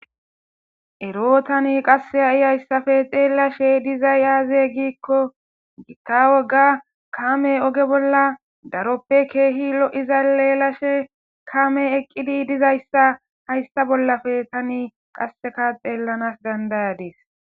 Eroo tani qasse ha7iy hayssappe xeelashe dizay yaaze giikko gitta woga kame oge bolla daroppe keehi lo7iza leelashe kame eqqidi dizayssa hayssa bollappe tani qasseka xeellanas dandayadees.